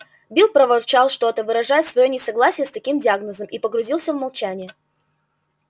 билл проворчал что то выражая своё несогласие с таким диагнозом и погрузился в молчание